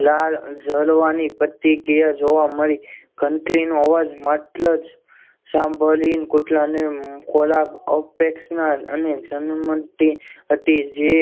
લાળ જરવાની પ્રતિક્રિયા જોવા મળી ઘંટડી નો અવાજ માત્ર જ સાંભળીને કૂતરાને ખોરાક અપેક્ષા અને જન મનથી પછી જે